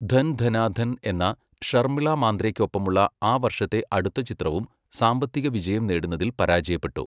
ധൻ ധനാ ധൻ' എന്ന, ഷർമിള മാന്ദ്രെയ്ക്ക് ഒപ്പമുള്ള ആ വർഷത്തെ അടുത്ത ചിത്രവും സാമ്പത്തികവിജയം നേടുന്നതിൽ പരാജയപ്പെട്ടു.